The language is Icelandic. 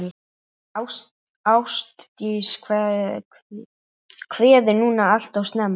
Ástdís kveður núna alltof snemma.